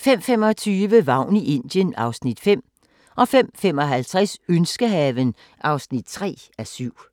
05:25: Vagn i Indien (Afs. 5) 05:55: Ønskehaven (3:7)